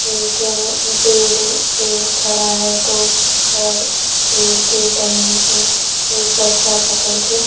एक पेड़ पेड़ खड़ा है तो और पेड़ के टहनी पे एक बच्चा पकड़ के--